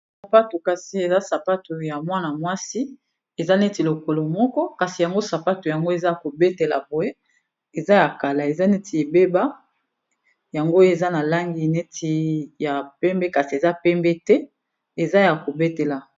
sapato kasi eza sapato ya mwana mwasi eza neti lokolo moko kasi yango sapato yango eza ya kobetela boye eza ya kala eza neti ebeba yango oyo eza na langi neti ya pembe kasi eza pembe te eza ya kobetela